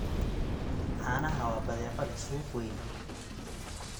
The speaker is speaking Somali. Caanaha waa badeeco leh suuq weyn.